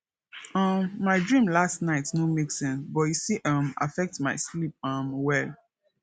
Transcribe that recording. um my dream last night no make sense but e still um affect my sleep um well